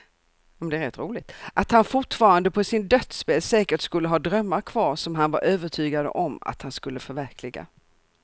Att han fortfarande på sin dödsbädd säkert skulle ha drömmar kvar som han var övertygad om att han skulle förverkliga.